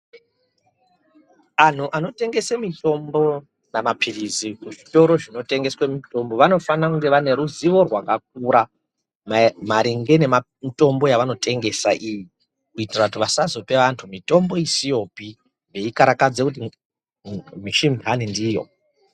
Antu anotengese mitombo kana maphirizi vanofanire kunge vane ruzivo rwakaura maringe ngezvemitombo yavanotengesa iyi kuitira vasazope antu mitombo isiyopi veikarakadzire misi intani ndiyo.